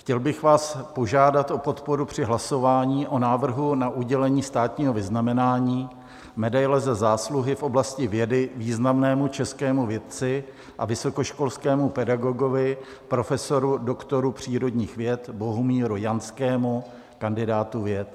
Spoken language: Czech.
Chtěl bych vás požádat o podporu při hlasování o návrhu na udělení státního vyznamenání medaile Za zásluhy v oblasti vědy významnému českému vědci a vysokoškolskému pedagogovi, profesoru doktoru přírodních věd Bohumíru Janskému, kandidátu věd.